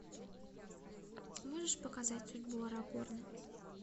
можешь показать судьбу арагорна